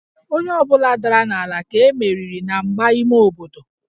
Onye ọ bụla dara n'ala ka e meriri na mgba ime obodo